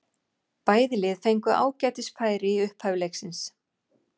Bæði lið fengu ágætis færi í upphafi leiksins.